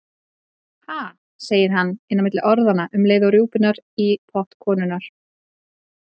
Ha, segir hann inn á milli orðanna um leið rjúpunnar í pott konunnar.